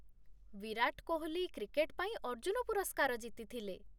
ବିରାଟ Kohli cricket ପାଇଁ ଅର୍ଜୁନ ପୁରସ୍କାର ଜିତିଥିଲେ।